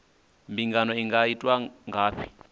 mbingano i nga itwa ngafhi